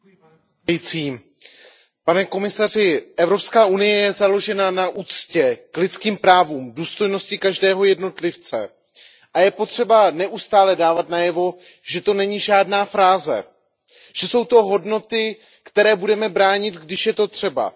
Pane předsedající, pane komisaři, Evropská unie je založena na úctě k lidským právům, k důstojnosti každého jednotlivce a je potřeba neustále dávat najevo, že to není žádná fráze, že to jsou hodnoty, které budeme bránit, když je to třeba.